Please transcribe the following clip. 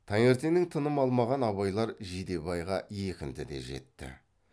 таңертеңнен тыным алмаған абайлар жидебайға екінтіде жетті